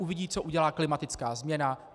Uvidí, co udělá klimatická změna.